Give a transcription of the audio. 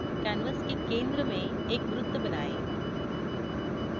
canvas के centre में एक वृत्त बनाएँ